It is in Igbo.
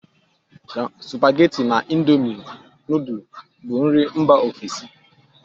Supageti na indomi nudul bụ nri Mba ofesi